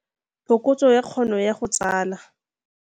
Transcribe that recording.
Phokotso ya kgono ya go tsala